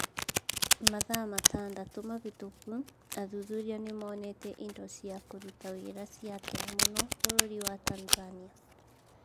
Mathaa matandatũ mahĩtũku athuthuria nĩ monete indo cia kũruta wĩra cia tene mũno bũrũri wa Tanzania.